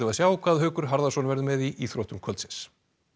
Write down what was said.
sjá hvað Haukur Harðason verður með í íþróttum kvöldsins